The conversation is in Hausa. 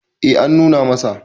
eh an nuna masa